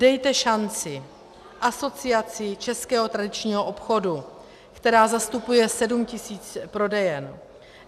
Dejte šanci Asociaci českého tradičního obchodu, která zastupuje 7 000 prodejen.